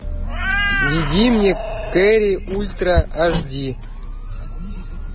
введи мне керри ультра аш ди